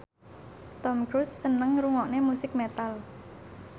Tom Cruise seneng ngrungokne musik metal